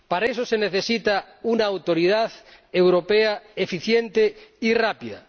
Para eso se necesita una autoridad europea eficiente y rápida.